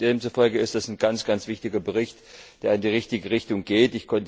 Demzufolge ist das ein ganz, ganz wichtiger Bericht, der in die richtige Richtung geht.